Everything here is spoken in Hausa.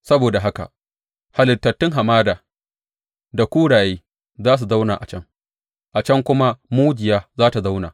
Saboda haka halittun hamada da kuraye za su zauna a can, a can kuma mujiya za tă zauna.